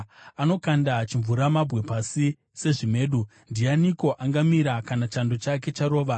Anokanda chimvuramabwe pasi sezvimedu. Ndianiko angamira kana chando chake charova?